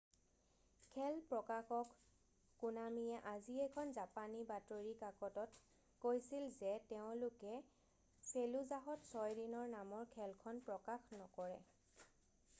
খেল প্ৰকাশক কোনামিয়ে আজি এখন জাপানী বাতৰি কাকতত কৈছিল যে তেওঁলোকে ফেলুজাহত ছয় দিন নামৰ খেলখন প্ৰকাশ নকৰে